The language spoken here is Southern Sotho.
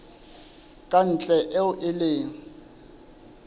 ka ntle eo e leng